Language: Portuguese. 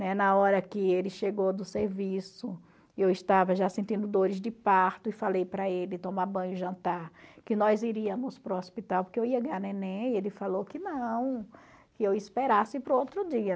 Na hora que ele chegou do serviço, eu estava já sentindo dores de parto, e falei para ele tomar banho e jantar, que nós iríamos para o hospital, porque eu ia ganhar neném, e ele falou que não, que eu esperasse para o outro dia.